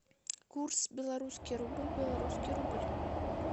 курс белорусский рубль белорусский рубль